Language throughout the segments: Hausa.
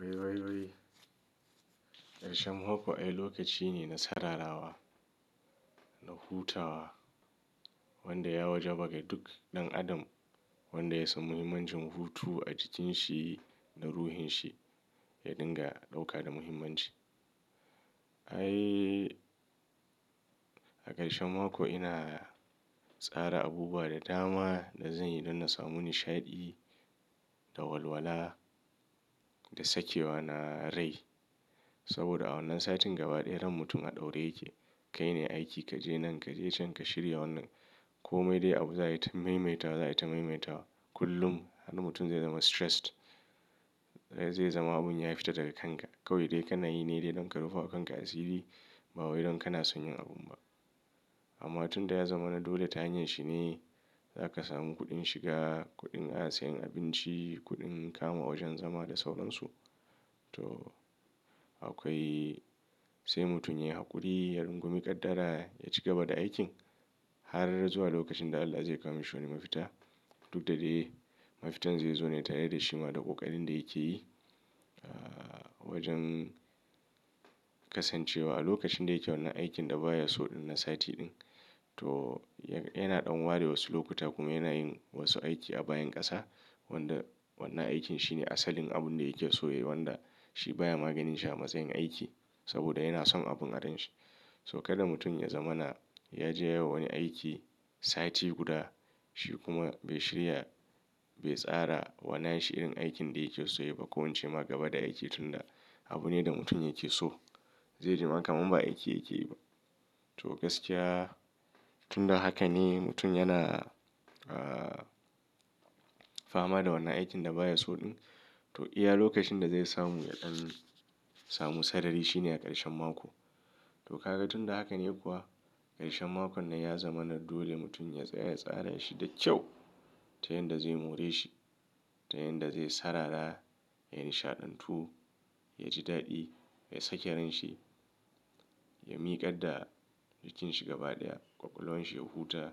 Wai, wai, wai. Ƙarshen mako ai lokaci ne na saurarawa da hutawa wanda ya wajaba ga duk ɗan adam wanda ya samu muhimman jinhutu a jikinshi da ruhinshi ya dinga ɗauka da muhimmanci. Ai a ƙarshen mako ina tsara abubuwa da dama da zan yi don na samu nishaɗi da walwala da sakewa na rai. Saboda a wannan satin gaba daya dan mutum a ɗaure yake. Kai ne aiki kaje nan kaje can ka shirya wannan. Ko mai dai abu za a yi ta maimaita, za a yi ta maimaita kullum har mutum zai zama jaddada. Zai zama abun ya fita daga kanka. Kawai dai kana yi ne dai don ka rufe wa kanka asiri ba wai don kana son yin abun ba. Amma tun da ya zama na dole ta hanyar shi ne. Za ka samu kuɗin shiga, kuɗin a sayan abinci, kuɗin kama wajen zama da sauran su. To, akwai sai mutum ya yi hakuri, ya rungumi ƙaddara, ya ci gaba da aikin har zuwa lokacin da Allah zai kama shi wani mafita. Duk da dai mafitan zai zo ne tare da shima da ƙoƙarin da yake yi. Wajen kasancewa a lokacin da yake wannan aikin da baya so na sati ɗin. To yana ɗan ware wasu lokuta kuma yana yin wasu aiki a bayan ƙasa wanda wannan aikin shine asalin abun da yake so yayi wanda shi baya maganin shi a matsayin aiki saboda yana son abun a ran shi. To kada mutum ya zama na ya je ya yawa wani aiki sati guda shi kuma bai shirya, bai tsara wannan shi irin aikin da yake so ya yi ba ko wance ma gaba da aiki tunda abu ne da mutum yake so. Zai ji maka kamar ba aiki yake yi ba. To gaskiya tunda haka ne mutum yana, ah, fama da wannan aikin da baya so ɗin. To iya lokacin da zai samu yaɗan samu sarari shi ne a ƙarshen mako. To ka ga tunda haka ne kuwa ƙarshen mako nan ya zama na dole mutum ya tsaya ya tsara shi da kyau ta yanda zai more shi, ta yanda zai saurara, ya nishaɗantu, ya ji daɗi, ya sake rai shi, ya miƙaɗa jikin shi gabaɗaya, ƙwaƙwalwan shi ya huta,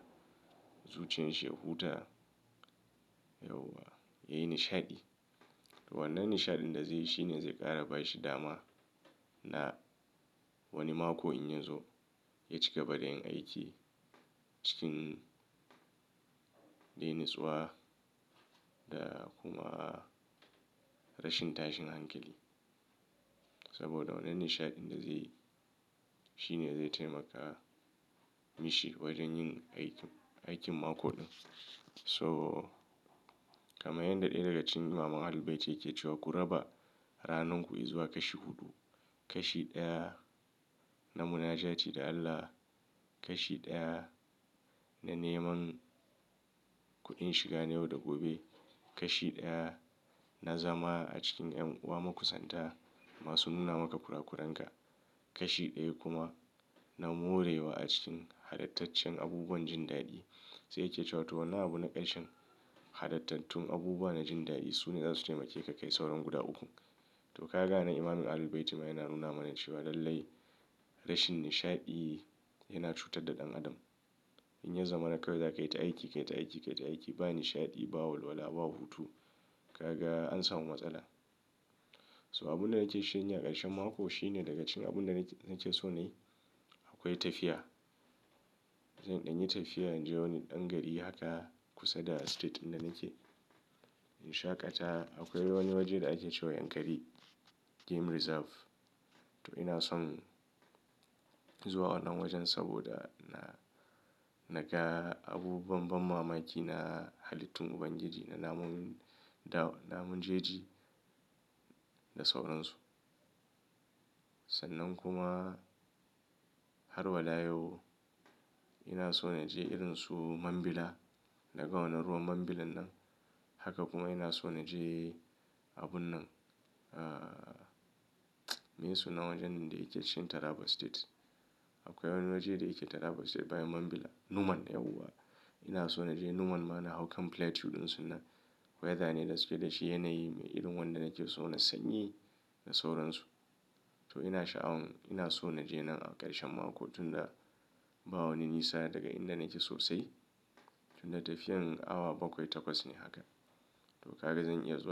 zuciyan shi ya huta. Yauwa ya yi nishaɗi. Wannan nishaɗin da zai yi shi ne zai ƙara ba shi dama. Na wani mako in ya zo ya ci gaba da yin aiki cikin dai natsuwa da kuma rashin tashin hankali. Saboda wannan nishaɗin da zai yi shi ne zai taimaka mishi wajen yin aikin, aikin mako ɗin. So kama yanda ɗaya daga cikin Imam Ahlul Bayti yake cewa ku raba ranar ku izuwa kashi huɗu. Kashi ɗaya na munajati da Allah. Kashi ɗaya na neman kuɗin shiga na yau da gobe. Kashi ɗaya na zama a cikin ƴan uwa makusanta masu nuna maka kurakuran ka. Kashi ɗaya kuma na morewa a cikin halattacen abubuwan jin daɗi. Sai yake cewa to wannan abu na ƙarshe halattatun abubuwa na jin daɗi su ne za su taimake ka kai sauran guda uku. To ka ga nan Imam Ahlul Bayit ma yana nuna mana cewa lallai rashin nishaɗi yana cutar da ɗan adam. In ya zama na kawai za ka yi ta aiki, ka yi ta aiki, ka yi ta aiki ba nishaɗi, ba walwala, ba hutu. Ka ga an samu matsala. So abun da nake shirin yi a ƙarshen mako shi ne daga cikin abun da nake so nayi akwai tafiya. Zan in yi tafiya in je wani ɗan gari haka kusa da jihar ɗin da nake. In shaƙata akwai wani waje da ake cewa Yankari Game Reserve. To ina son zuwa wannan wajen saboda na, na ga abubuwan ban mamaki na halittun ubangiji da namun, namun jeji da sauran su. Sannan kuma har wa layau ina so na je irin su Mambila. Na ga wannan ruwan Mambilan nan. Haka kuma ina so na je abun nan. Ah, me su na wajen da yake chin Taraba State. Akwai wani waje da yake Taraba State bayan Mambila, Numan yauwa. Ina so na je Numan ma na hau kam Plateau ɗin su nan. Weather ne da suke da shi yanayi me irin wanda nake so na sanyi da sauran su. To ina sha'awan ina so na je nan a ƙarshen mako tunda ba wani nisa daga inda nake sosai. Tunda tafiyarin awa bakwai takwas ne haka. To ka ga zan iya zuwa.